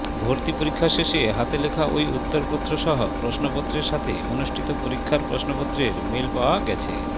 ভর্তি পরীক্ষা শেষে হাতে লেখা ওই উত্তরসহ প্রশ্নপত্রের সাথে অনুষ্ঠিত পরীক্ষার প্রশ্নপত্রের মিল পাওয়া গেছে